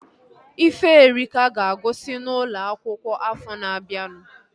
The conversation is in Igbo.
Iferika ga-agụsi n'ụlọ akwụkwọ afọ na-abianu